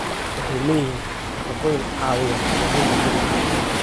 Waxay leeyihiin nafaqooyin caawiya hagaajinta jidhka.